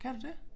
Kan du det?